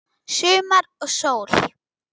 Sumar og sól.